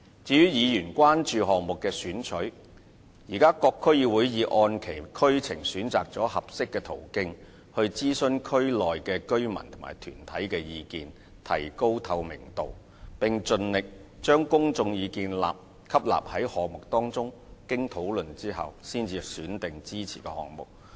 至於議員關注到項目的選取過程，現時各區議會已按其區情選擇了合適的途徑，諮詢區內居民和團體的意見，以提高透明度，並盡力把公眾意見吸納於項目當中，經討論後才選定支持的項目。